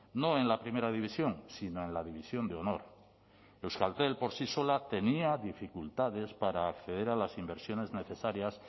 no en la primera división sino en la división de honor euskaltel por sí sola tenía dificultades para acceder a las inversiones necesarias